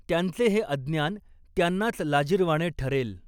त्यांचे हे अज्ञान त्यांनाच लाजिरवाणे ठरेल